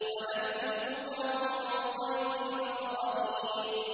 وَنَبِّئْهُمْ عَن ضَيْفِ إِبْرَاهِيمَ